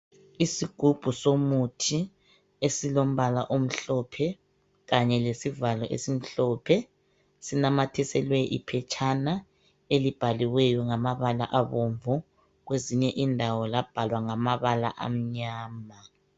isigubhu somuthiesilombala omhlophe kanye lesivalo esimhlophe esinamathiselwe iphetshana elibhaliweyo ngamabala abomvu kwezinye indawo labhalwa ngamabala amnyama